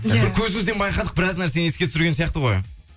бір көзіңізден байқадық біраз нәрсені еске түсірген сияқты ғой